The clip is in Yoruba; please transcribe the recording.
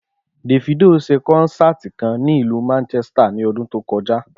Davido s̩e kó̩nsáàtì kan ní ìlú Manchester in o̩dún tó ko̩já